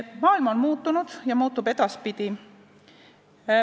Maailm on muutunud ja muutub edaspidi.